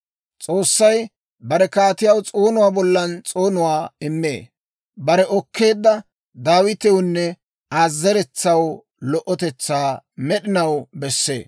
S'oossay bare kaatiyaw s'oonuwaa bollan s'oonuwaa immee. Bare okkeedda, Daawitewunne Aa zeretsaw, lo"otetsaa med'inaw bessee.